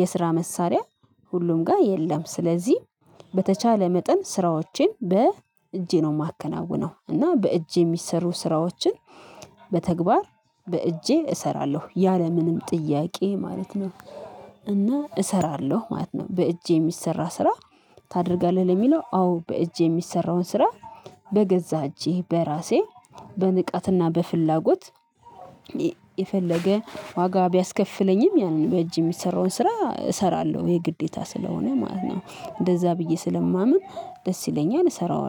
የስራ መሳሪያ ሁሉም ጋር የለም። ስለዚህ በተቻለ መጠን ስራዎችን በእጄ ነው የማከናውነው እና በእጅ የሚሰሩ ስራዎችን። በተግባር በእጄ እሰራለሁ ያለምንም ጥያቄ ማለት ነው። እና እሰራለሁ ማለት ነው በእጅ የሚሰራ ስራ? ታደርጋለህ ለሚለው አዎ በእጄ የሚሰራውን ስራ። በገዛ እጄ በራሴ በንቃት እና በፍላጎት። የፈለገ ዋጋ ቢያስከፍለኝም ያንን በእጅ የሚሰራውን ስራ እሰራለሁ የግዴታ ስለሆነ ማለት ነው። እንደዛ ብዬ ስለማምን ደስ ይለኛል እሰራዋለሁ